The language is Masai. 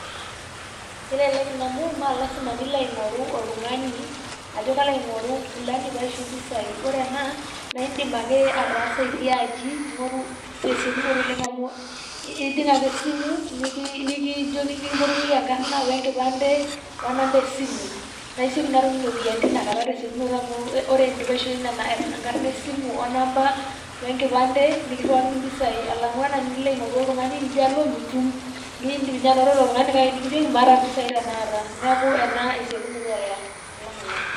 Kelelek Ina amu Maa lasima pee ilo aing'oru oltung'ani ajo kalo aing'oru fulani paisho impisai. Ore ena naa iiidim ake ataasa itii aji aing'oru tesiokinoto oleng' amu ejing' ake esimu Niki nikii nikimpotunyieki enkarna we nkipande, onamba esimu. Naa isioki naa atum iropiyiani tesiokinoto amu ore naa teninchoyo enamba wenkarna wonamba wenkipande nikirriwaki ni impisai alang'u ena Nilo aing'oru oltung'ani Nijo alo mitum . Niidim ninye aing'oru ilo Tung'ani nitum nikijoki maata impisai tenakata. Neeku ena esiokinoto alang' eda.